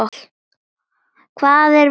Hvað er verið að gera?